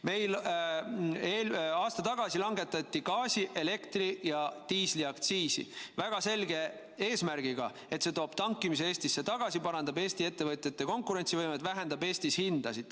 Meil aasta tagasi langetati gaasi-, elektri- ja diisliaktsiisi väga selge eesmärgiga, et see tooks tankimise Eestisse tagasi, parandaks Eesti ettevõtjate konkurentsivõimet ja vähendaks Eestis hindasid.